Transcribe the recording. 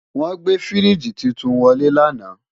Wọ́n gbé fíríjì titun wọlé lánàá